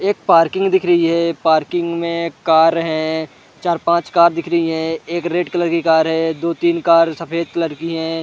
एक पार्किंग दिख रही है पार्किंग में कार है चार पांच कार दिख रही है एक रेड कलर की कार है दो-तीन कार सफेद कलर की है।